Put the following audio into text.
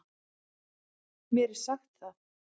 Mér er sagt það.